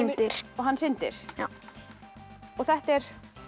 syndir og hann syndir og þetta er